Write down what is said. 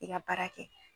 I ka baara kɛ